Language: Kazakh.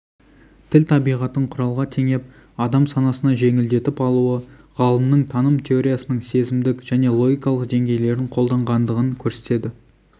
тіл табиғатын құралға теңеп адам санасына жеңілдетіп алуы ғалымның таным теориясының сезімдік және логикалық деңгейлерін қолданғандығын көрсетеді